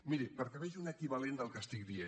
miri perquè vegi un equivalent del que dic